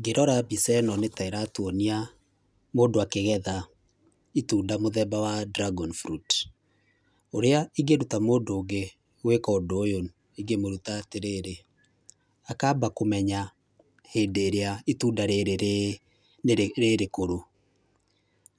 Ngĩrora mbica ĩno nĩta ĩratuonia mũndũ akĩgetha itunda mũthemba wa dragon fruit. Ũrĩa ingĩruta mũndũ ũngĩ gwĩka ũndũ ũyũ ingĩmũruta atĩrĩ, akamba kũmenya hĩndĩ ĩrĩa itunda rĩrĩ rĩrĩkũrũ.